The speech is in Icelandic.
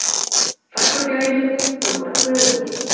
Farfuglaheimilin hljóta Kuðunginn